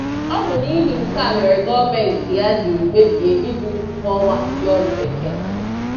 ọ bụ n'ihi nke a mere gọọmenti ya jiri kpebie ibuli ụgwọ ọnwa ndị ọrụ Bekee.